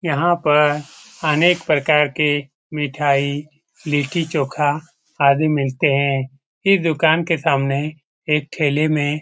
यहाँ पर अनेक प्रकार के मिठाई लिट्टीचोखा आदि मिलते हैं। इस दुकान के सामने एक ठेले में --